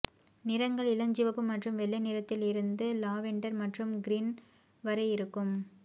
நிறங்கள் இளஞ்சிவப்பு மற்றும் வெள்ளை நிறத்தில் இருந்து லாவெண்டர் மற்றும் கிரீம் வரை இருக்கும்